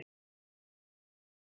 Það sýni dæmin.